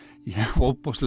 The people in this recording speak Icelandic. ofboðslega